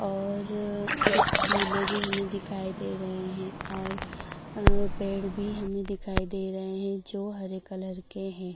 और अ कुछ झूले भी हमें दिखाई दे रहे हैं और अहं पेड़ भी हमें दिखाई दे रहे हैं जो हरे कलर के हैं।